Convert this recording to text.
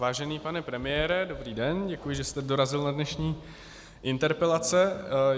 Vážený pane premiére, dobrý den, děkuji, že jste dorazil na dnešní interpelace.